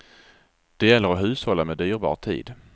Det gäller att hushålla med dyrbar tid.